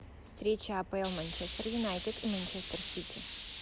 встреча апл манчестер юнайтед и манчестер сити